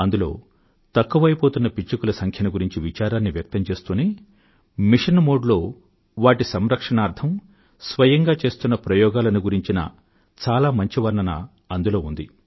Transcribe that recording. అందులో తక్కువైపోతున్న పిచ్చుకల సంఖ్యను గురించి విచారాన్ని వ్యక్తం చేస్తూనే మిషన్ మోడ్ లో వాటి సంరక్షణార్థం స్వయంగా చేస్తున్న ప్రయోగాలను గురించిన చాలా మంచి వర్ణన అందులో ఉంది